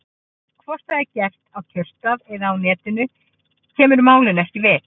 Hvort það er gert á kjörstað eða á Netinu kemur málinu ekki við.